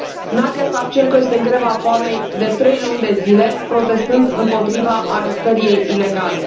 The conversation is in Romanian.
Nadiya Savchenko este în greva foamei de trei luni de zile, protestând împotriva arestării ei ilegale.